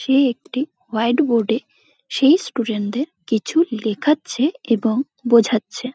সে একটি whiteboard -এ সেই স্টুডেন্ট -দের কিছু লেখাচ্ছে এবং বোঝাচ্ছে ।